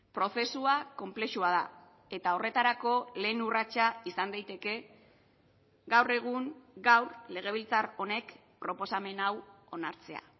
prozesua konplexua da eta horretarako lehen urratsa izan daiteke gaur egun gaur legebiltzar honek proposamen hau onartzea